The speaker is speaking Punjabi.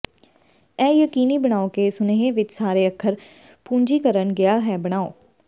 ਇਹ ਯਕੀਨੀ ਬਣਾਓ ਕਿ ਸੁਨੇਹੇ ਵਿੱਚ ਸਾਰੇ ਅੱਖਰ ਪੂੰਜੀਕਰਣ ਗਿਆ ਹੈ ਬਣਾਓ